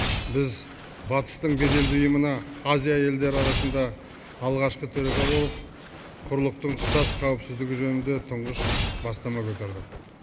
біз батыстың беделді ұйымына азия елдері арасында алғашқы төраға болып құрлықтың тұтас қауіпсіздігі жөнінде тұңғыш бастама көтердік